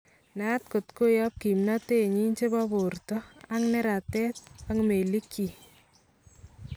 Naat kot koyab kimnatenyin chebo borto ak neratet ak melikyik